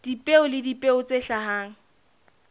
dipeo le dipeo tse hlahang